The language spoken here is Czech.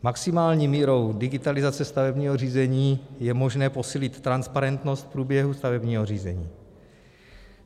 Maximální mírou digitalizace stavebního řízení je možné posílit transparentnost průběhu stavebního řízení.